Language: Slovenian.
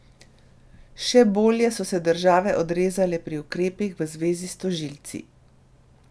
Še bolje so se države odrezale pri ukrepih v zvezi s tožilci.